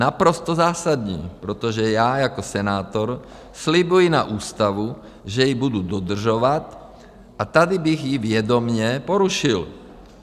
- Naprosto zásadní, protože já jako senátor slibuji na ústavu, že ji budu dodržovat, a tady bych ji vědomě porušil.